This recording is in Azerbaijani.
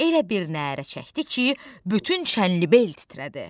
Elə bir nərə çəkdi ki, bütün Çənlibel titrədi.